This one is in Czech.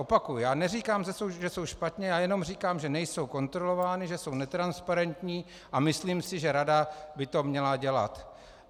Opakuji, já neříkám, že jsou špatně, já jenom říkám, že nejsou kontrolovány, že jsou netransparentní a myslím si, že rada by to měla dělat.